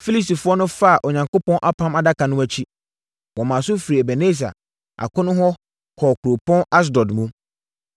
Filistifoɔ no faa Onyankopɔn Apam Adaka no akyi, wɔmaa so firii Ebeneser akono hɔ kɔɔ kuropɔn Asdod mu.